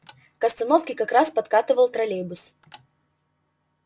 к остановке как раз подкатывал троллейбус